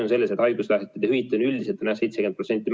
Haiguspäevade hüvitis on üldiselt 70%.